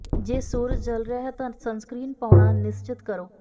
ਜੇ ਸੂਰਜ ਜਲ ਰਿਹਾ ਹੈ ਤਾਂ ਸਨਸਕ੍ਰੀਨ ਪਾਉਣਾ ਨਿਸ਼ਚਤ ਕਰੋ